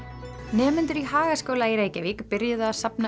nemendur í Hagaskóla í Reykjavík byrjuðu að safna